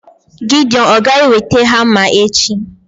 Gideon ọ̀ ga-eweta hama echi?